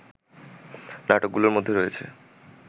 নাটকগুলোর মধ্যে রয়েছে